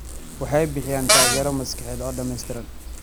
Waxay bixiyaan taageero maskaxeed oo dhamaystiran.